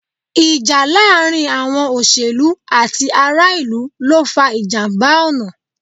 Ìjà láàárín àwọn òṣèlú àti ará-ìlú ló fa ìjàmbá ọ̀nà.